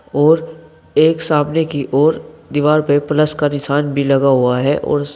और एक सामने की ओर दीवार पे प्लस का निशान भी लगा हुआ है और--